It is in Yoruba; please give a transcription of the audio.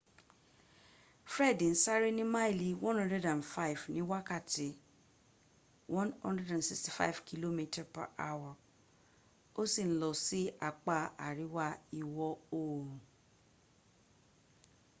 fred ń sáré ní máìlì 105 ní wákàtí 165km/h ó sì ń lọ sí apá àríwá ìwọ̀ oòrùn